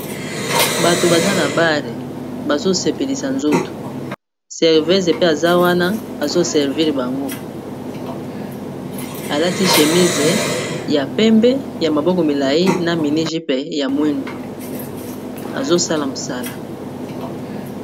Bato baza na bare bazosepelisa nzoto servese pe aza wana azoserviri bango alati shémise ya pembe ya maboko milai na miniji pe ya mwindu azosala mosala